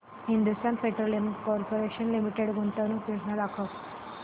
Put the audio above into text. Hindustan Petroleum Corporation Limited गुंतवणूक योजना दाखव